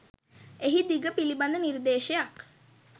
එහි දිග පිළිබඳ නිර්දේශයක්